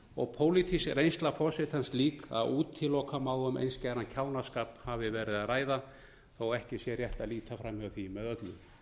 og pólitísk reynsla forsetans slík að útiloka má um einskæran kjánaskap hafi verið að ræða þó ekki sé rétt að líta fram hjá því með öllu